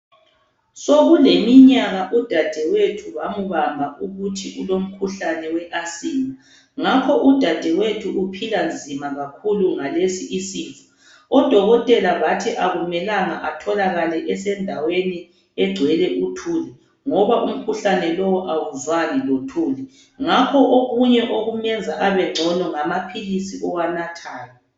Sokuleminyaka udadewethu bambabha umkhuhlane we asima ngakhoke udadewethu uphila nzima kakhulu ngalesi isifo odokotela bathi akumelanga atholakale esendaweni egcwele ithuli ngoba umkhuhlane lowo awuzwani lothuli ngakho okunye okumenza abengcono ngamaphilizi awanathayo